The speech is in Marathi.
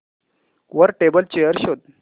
वर टेबल चेयर शोध